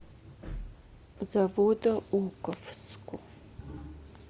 заводоуковску